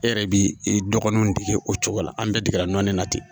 E yɛrɛ b'i dɔgɔninw dege o cogo la an bɛɛ degera nɔni na ten